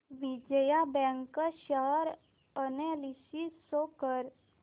Vijaya bank share analysis show कर